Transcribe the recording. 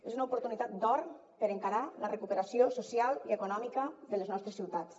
és una oportunitat d’or per encarar la recuperació social i econòmica de les nostres ciutats